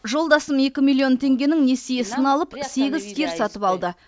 жолдасым екі миллион теңгенің несиесін алып сегіз сиыр сатып алды